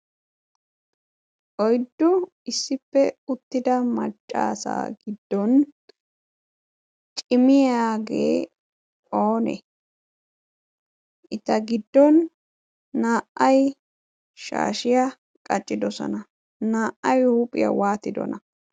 oyddu issippe utida maccasa gidon cimmiyage oone? eta gidon naa"ay shaashiya qaccidosona. naa"ay qaccibeenaage oonee?